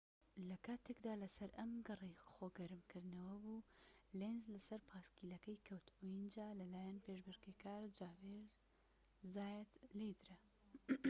لە کاتێکدا لە سەر ئەم گەڕەی خۆ گەرم کردنەوە بوو لێنز لە سەر پایسکلەکەی کەوت و ئینجا لە لایەن پێشبڕکێکار خاڤیێر زایات لێیدرا